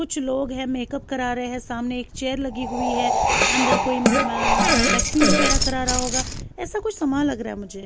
کچھ لوگ ہیں میک اپ کرا رہے ہیں، سامنے ایک چیئر لگی ہوئی ہیں۔ اندر کوئی آ ویکسنگ وغیرہ کرا رہا ہوگا۔ ایسا کوئی سامان لگ رہا ہے مجھے --